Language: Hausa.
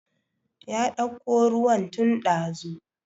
Ya dauko ruwan tun ɗazu